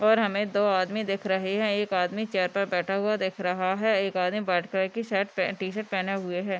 और हमे दो आदमी दिख रहे हैं एक आदमी चेयर पे बैठा हुआ दिख रहा है एक आदमी वाइट कलर की शर्ट पे टी-शर्ट पहना हुए है |